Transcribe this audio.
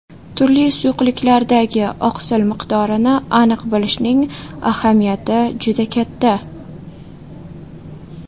Turli suyuqliklardagi oqsil miqdorini aniq bilishning ahamiyati juda katta.